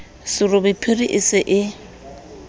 serobe phiri e se e